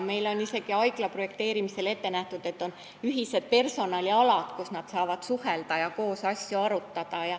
Meil on isegi haigla projekteerimisel ette nähtud, et on ühised personalialad, kus nad saavad suhelda ja asju arutada.